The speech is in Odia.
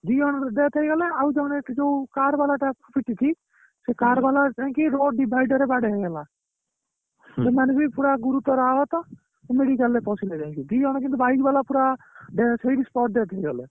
ଦି ଜଣଙ୍କର death ହେଇଗଲା ଆଉ ଜଣେ ଯୋଉ car ବାଲା ଟା ପିଟିଛି ସେ car ବାଲା ଯାଇକି road divider ବାଡ଼େଇ ହେଇଗଲା ସେମାନେ ବି ପୁରା ଗୁରୁତର ଆହତ medical ରେ ପଶିଲେ ଯାଇକି ଦି ଜଣ କିନ୍ତୁ bike ବାଲା ପୁରା death ହେଇକି spot death ହେଇଗଲେ